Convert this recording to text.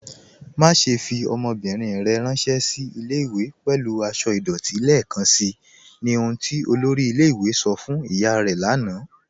Màṣẹ̀ fi ọmọ́bírín rẹ̀ ránsẹ̀ sí ilẹ̀-ìwé̀ pẹ̀lú àṣọ̀ idọ̀tí lẹ́ẹkanṣí, ní ọ̀hun tí olórí ilẹ̀-ìwé̀ sọ̀ fún ìyá rẹ̀ lànà